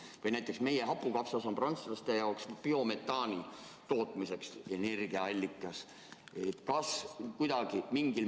Või näiteks meie hapukapsas on prantslaste jaoks energiaallikas biometaani tootmiseks.